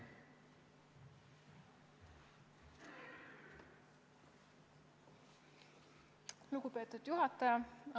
Lugupeetud juhataja!